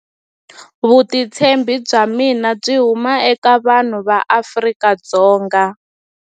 Vutitshembi bya mina byi huma eka vanhu va Afrika-Dzonga.